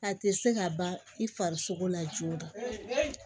A tɛ se ka ban i farisogo la joona